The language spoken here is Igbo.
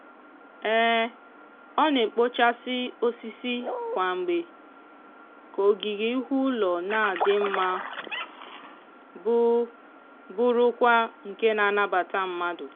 ọ na-ekpochasị osisi kwa mgbe ka ogige ihu ụlọ na-adị mma bụ bụrụkwa nke na-anabata mmadụ.